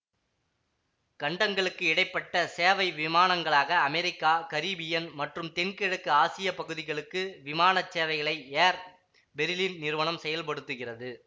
கண்டங்களுக்கு இடை பட்ட சேவை விமானங்களாக அமெரிக்கா கரிபீயன் மற்றும் தென்கிழக்கு ஆசிய பகுதிகளுக்கு விமான சேவைகளை ஏர் பெரிலின் நிறுவனம் செயல்படுத்துகிறது